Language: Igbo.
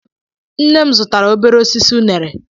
Nne m zụtara obere osisi unere.